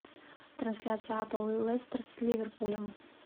трансляция апл лестер с ливерпулем